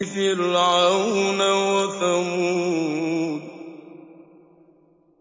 فِرْعَوْنَ وَثَمُودَ